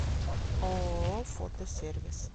ооо фото сервис